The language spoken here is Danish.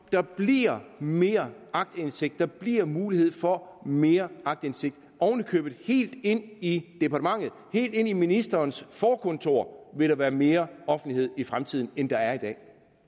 der bliver mere aktindsigt der bliver mulighed for mere aktindsigt oven i købet helt ind i departementet helt ind i ministerens forkontor vil der være mere offentlighed i fremtiden end der er i dag